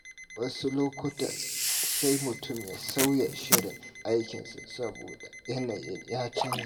Wasu lokuta, sai mutum ya sauya shirin aikinsa saboda yanayi ya canza.